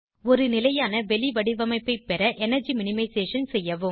ஒரு நிலையான வெளிவடிவமைப்பை பெற எனர்ஜி மினிமைசேஷன் செய்யவும்